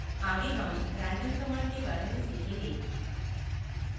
आगे हम random command के बारे में सीखेंगे